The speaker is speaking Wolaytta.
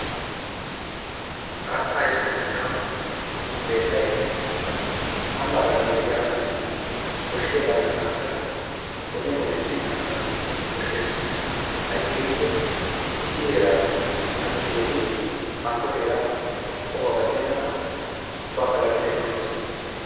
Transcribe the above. Haattaa issipetettaa ooso keettay ambaa garssan diya asaassi koshiyagaadan haattaa wodiyan wodiyan yedana mala koshshees. Ayssi giikko issi heeraaa kanchchiya yeddidi hankko heeraaa qohuwa gattenna mala ubbaakka lagge xeellanawu bessees,